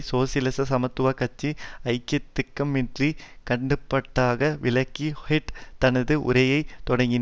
சோசியலிச சமத்துவ கட்சி ஐயத்திற்கிடமின்றி கண்டிப்பதாக விளக்கி ஹெட் தனது உரையை தொடக்கினார்